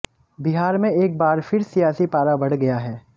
बिहार में एक बार फिर सियासी पारा बढ़ गया है